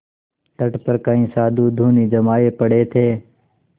तट पर कई साधु धूनी जमाये पड़े थे